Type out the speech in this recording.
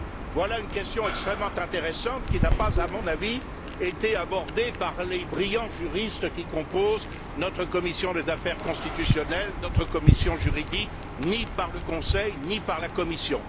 Voilà une question extrêmement intéressante qui n'a pas, à mon avis, été abordée par les brillants juristes qui composent notre commission des affaires constitutionnelles, notre commission juridique, ni par le Conseil, ni par la Commission.